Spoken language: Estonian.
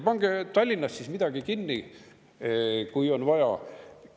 Pange Tallinnas midagi kinni, kui on vaja.